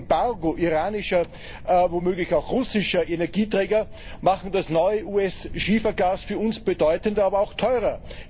ein Embargo iranischer womöglich auch russischer Energieträger machen das neue US Schiefergas für uns bedeutender, aber auch teurer.